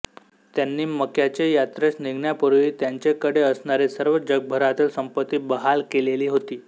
त्यानि मक्काचे यात्रेस निघण्यापूर्वी त्याचेकडे असणारी सर्व जगभरातील सम्पत्ती बहाल केलेली होती